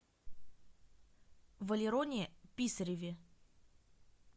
валероне писареве